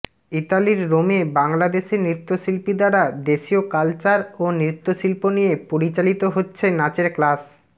ইতালির রোমে বাংলাদেশী নৃত্য শিল্পী দ্বারা দেশীয় কালচার ও নৃত্যশিল্প নিয়ে পরিচালিত হচ্ছে নাচের ক্লাস